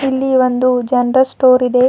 ಇಲ್ಲಿ ಒಂದು general store ಇದೆ.